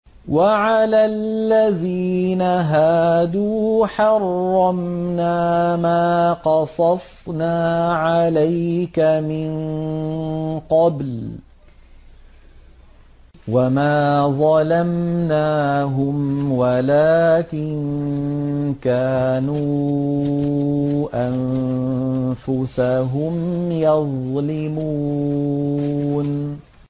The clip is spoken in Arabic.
وَعَلَى الَّذِينَ هَادُوا حَرَّمْنَا مَا قَصَصْنَا عَلَيْكَ مِن قَبْلُ ۖ وَمَا ظَلَمْنَاهُمْ وَلَٰكِن كَانُوا أَنفُسَهُمْ يَظْلِمُونَ